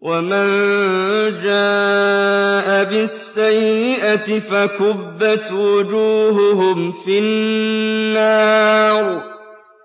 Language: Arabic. وَمَن جَاءَ بِالسَّيِّئَةِ فَكُبَّتْ وُجُوهُهُمْ فِي النَّارِ